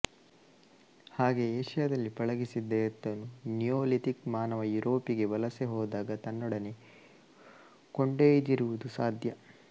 ಹಾಗೆ ಏಷ್ಯದಲ್ಲಿ ಪಳಗಿಸಿದ್ದ ಎತ್ತನ್ನು ನಿಯೋಲಿಥಿಕ್ ಮಾನವ ಯೂರೋಪಿಗೆ ವಲಸೆ ಹೋದಾಗ ತನ್ನೊಡನೆ ಕೊಂಡೊಯ್ದಿರುವುದು ಸಾಧ್ಯ